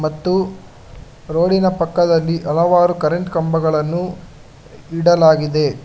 ಮತ್ತು ರೋಡಿನ ಪಕ್ಕದಲ್ಲಿ ಹಲವಾರು ಕರೆಂಟ್ ಕಂಬಗಳನ್ನು ಇಡಲಾಗಿದೆ.